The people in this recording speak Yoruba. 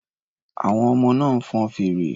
Àwọn ọmọ náà ń fọn fèrè.